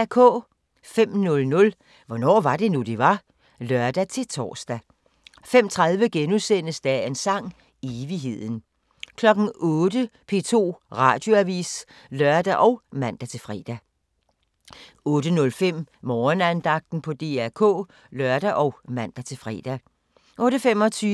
05:00: Hvornår var det nu, det var? (lør-tor) 05:30: Dagens Sang: Evigheden * 08:00: P2 Radioavis (lør og man-fre) 08:05: Morgenandagten på DR K (lør og man-fre)